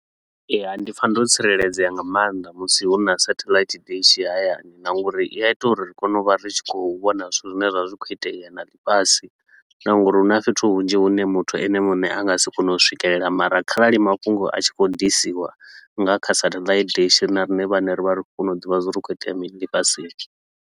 Ee, hai ndi pfa ndo tsireledzea nga maanḓa musi huna satellite dishi hayani na nga uri i ya ita uri ri kone u vha ri tshi khou vhona zwithu zwine zwa vha zwi khou itea na ḽifhasi. Na nga uri huna fhethu hunzhi hune muthu ene muṋe a nga si kone u swikelela mara kharali mafhungo a tshi khou ḓisiwa nga kha satellite dishi ri na riṋe vhaṋe ri vha ri khou kona u ḓivha zwa uri hu khou itea mini ḽifhasini.